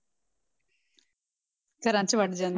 ਘਰਾਂ 'ਚ ਵੜ ਜਾਂਂ~